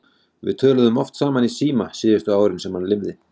Við töluðum oft saman í síma síðustu árin sem hann lifði.